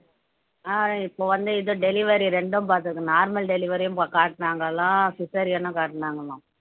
அஹ் இப்ப வந்து இது delivery ரெண்டும் பாத்தது normal delivery யும் ப காட்டினங்களாம் cesarean உம் காட்டினங்களாம்